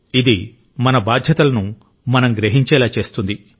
ఇది మన బాధ్యతలను మనం గ్రహించేలా చేస్తుంది